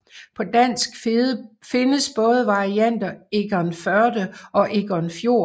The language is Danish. På dansk findes både varianter Egernførde og Egernfjord